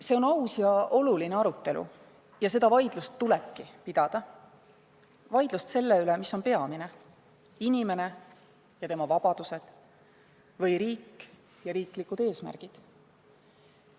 See on aus ja oluline arutelu ning seda vaidlust tulebki pidada – vaidlust selle üle, mis on peamine: inimene ja tema vabadused või riik ja riiklikud eesmärgid.